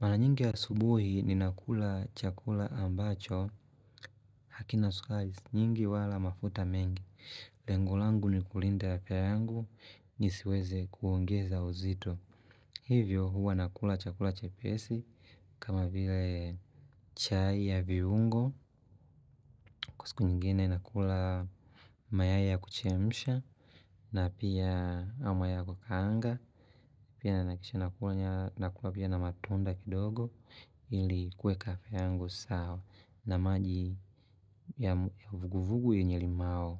Mara nyingi asubuhi ni nakula chakula ambacho hakina sukari nyingi wala mafuta mengi. Lengo langu ni kulinda afya yangu nisiweze kuongeza uzito. Hivyo huwa nakula chakula chepesi kama vile chai ya viungo siku nyingine nakula mayai ya kuchemsha na pia ama ya kukanga. Pia nahakikisha nakunywa nakula pia na matunda kidogo ili kuweka afya yangu sawa na maji ya vuguvugu yenye limau.